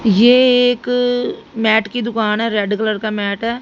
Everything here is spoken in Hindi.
ये एक मैट की दुकान है रेड कलर का मैट है।